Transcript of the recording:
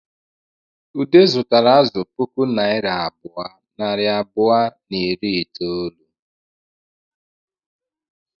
Ude zutara azụ puku naira abụọ, nari abụọ na iri itoolu